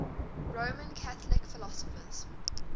roman catholic philosophers